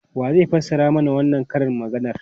Wa zai fassara mana wannan karin maganar?